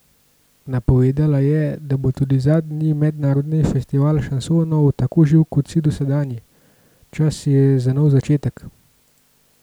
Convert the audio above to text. Napovedala je, da bo tudi zadnji mednarodni festival šansonov tako živ kot vsi dosedanji: "Čas je za nov začetek!